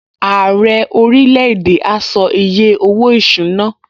Ààrẹ orílẹ̀-èdè a sọ iye owó-ìṣúná